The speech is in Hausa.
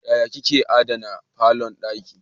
Yaya kika adana falon dinki.